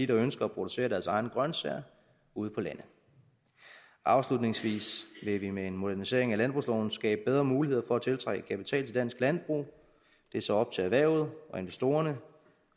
der ønsker at producere deres egne grøntsager ude på landet afslutningsvis vil vi med en modernisering af landbrugsloven skabe bedre muligheder for at tiltrække kapital til dansk landbrug og det er så op til erhvervet og investorerne